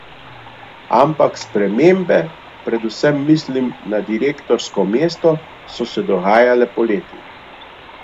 Ampak spremembe, predvsem mislim na direktorsko mesto, so se dogajale poleti.